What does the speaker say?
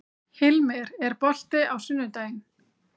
Hilmir, er bolti á sunnudaginn?